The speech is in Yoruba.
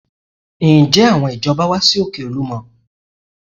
Ǹjẹ́ àwọn ìjọba wá sí òkè Olúmọ?